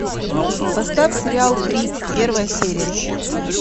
поставь сериал крик первая серия